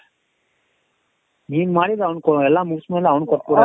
ನೀನ್ ಮಾಡಿದ್ದು ಅವನಿಗೆ ಎಲ್ಲ ಮುಗ್ಸಿ ಮಾಡಿ ಅವನಿಗೆ ಕೊಟ್ಬಿಡದ